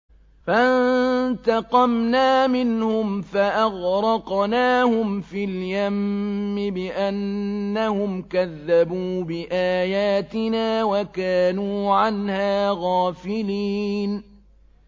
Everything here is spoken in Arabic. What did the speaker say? فَانتَقَمْنَا مِنْهُمْ فَأَغْرَقْنَاهُمْ فِي الْيَمِّ بِأَنَّهُمْ كَذَّبُوا بِآيَاتِنَا وَكَانُوا عَنْهَا غَافِلِينَ